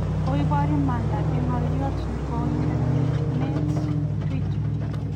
Koiboor imandat en ngoliot neng'oindet Twitter.